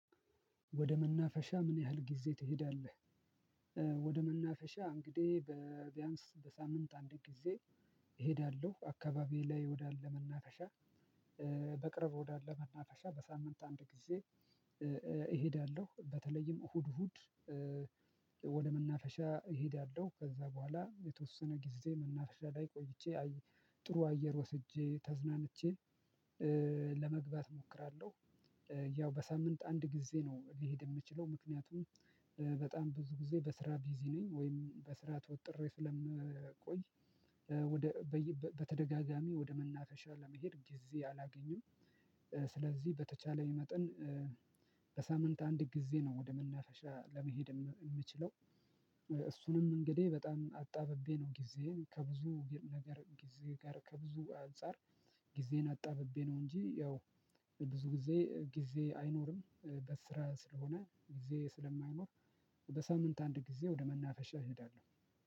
ወደ መናፈሻ ምን ያህል ጊዜ ትሄዳለህ? ወደ መናፈሻ እንግዲህ በቢያንስ በሳምንት አንድ ጊዜ። እሄዳለሁ አካባቢዬ ላይ ወደ አለመናፈሻ። በቅርብ ወደ አለመናፈሻ በሳምንት አንድ ጊዜ። እሄዳለሁ በተለይም እሁድ እሁድ። ወደ መናፈሻ እሄዳለሁ ከዛ በኋላ የተወሰነ ጊዜ መናፈሻ ላይ ቆይቼ ጥሩ አየር ወስጄ ተዝናንቼ። ለመግባት እሞክራለሁ። ያው በሳምንት አንድ ጊዜ ነው ሊሄድ የምችለው ምክንያቱም በጣም ብዙ ጊዜ በስራ ቢዚ ነኝ ወይም በስራ ተወጥሬ ስለምቆይ። በተደጋጋሚ ወደ መናፈሻ ለመሄድ ጊዜ አላገኝም። ስለዚህ በተቻለኝ መጠን። በሳምንት አንድ ጊዜ ነው ወደ መናፈሻ ለመሄድ የምችለው። እሱንም እንግዲህ በጣም አጣብቤ ነው ጊዜየን ከብዙ ነገር ጊዜ ጋር ከብዙ አንፃር። ጊዜን አጣብቤ ነው እንጂ ያው ብዙ ጊዜ ጊዜ አይኖርም። በስራ ስለሆነ ጊዜ ስለማይኖር። በሳምንት አንድ ጊዜ ወደ መናፈሻ እሄዳለሁ